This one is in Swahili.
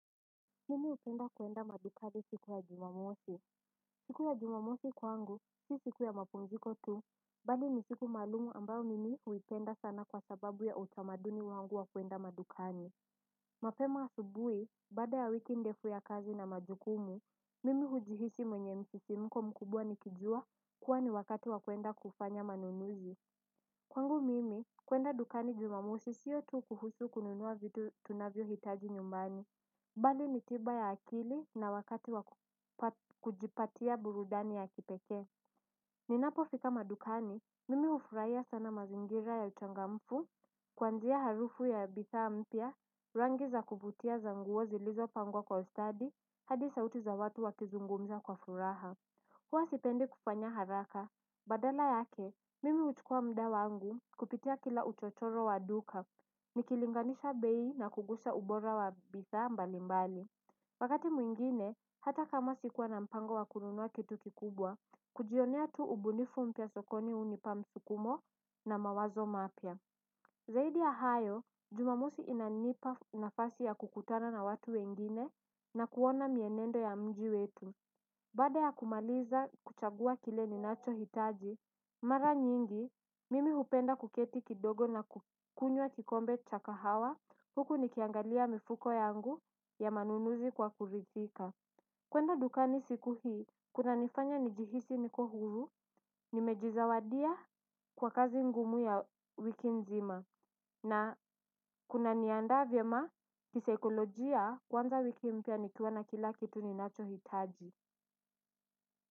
Mimi upenda kuenda madukani siku ya jumamosi. Siku ya jumamosi kwangu si siku ya mapumziko tu. Bali ni siku maalumu ambao mimi huipenda sana kwa sababu ya utamaduni wangu wa kuenda madukani. Mapema asubuhi baada ya wiki ndefu ya kazi na majukumu mimi hujihisi mwenye msisimko mkubwa nikijua kuwa ni wakati wa kuenda kufanya manunuzi. Kwangu mimi kuenda dukani jumamosi sio tu kuhusu kununua vitu tunavyohitaji nyumbani. Bali ni tiba ya akili na wakati wa kujipatia burudani ya kipekee ninapofika madukani, mimi ufuraia sana mazingira ya uchangamfu. Kwanzia harufu ya bidhaa mpya, rangi za kuvutia za nguo zilizopangwa kwa ustadi hadi sauti za watu wakizungumza kwa furaha. Huwa sipendi kufanya haraka. Badala yake, mimi huchukua mda wangu kupitia kila uchochoro wa duka. Nikilinganisha bei na kugusa ubora wa bidhaa mbalimbali wakati mwingine, hata kama sikuwa na mpango wa kununua kitu kikubwa kujionea tu ubunifu mpya sokoni unipa msukumo na mawazo mapya. Zaidi ya hayo, jumamosi inanipa nafasi ya kukutana na watu wengine na kuona mienendo ya mji wetu. Baada ya kumaliza kuchagua kile ninachohitaji mara nyingi, mimi hupenda kuketi kidogo na kukunywa kikombe cha kahawa, huku nikiangalia mifuko yangu ya manunuzi kwa kuridhika. Kwenda dukani siku hii, kunanifanya njihisi niko huru, nimejizawadia kwa kazi ngumu ya wiki nzima. Na kuna niaanda vyema kisekolojia kwanza wiki mpya nikiona kila kitu ninachohitaji.